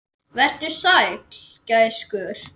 Vertu sæll, gæskur.